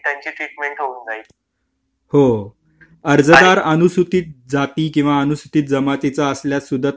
हो अर्जदार अनुसूचित जाती किंवा अनुसूचित जमातीचा असल्यास सुद्धा त्यांना जास्त लाभ मिळतो याचा प्रमाणे